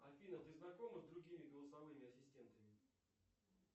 афина ты знакома с другими голосовыми ассистентами